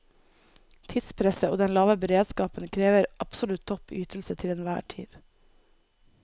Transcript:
Tidspresset og den lave beredskapen krever absolutt topp ytelse til enhver tid.